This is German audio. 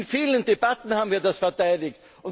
hat! In vielen Debatten haben wir das verteidigt.